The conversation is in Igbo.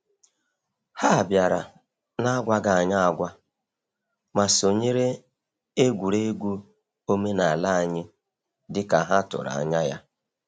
Ha bịara n’agwaghị anyị agwa, ma sonyere egwuregwu omenala anyị dị ka ha tụrụ anya ya.